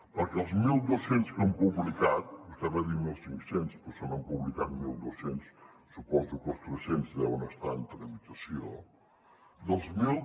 perquè els mil dos cents que han publicat vostè en va dir mil cinc cents però se n’han publicat mil dos cents suposo que els tres cents deuen estar en tramitació dels mil